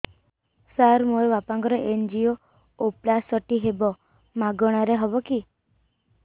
ସାର ମୋର ବାପାଙ୍କର ଏନଜିଓପ୍ଳାସଟି ହେବ ମାଗଣା ରେ ହେବ କି